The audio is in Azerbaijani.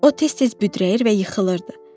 O tez-tez büdrəyir və yıxılırdı.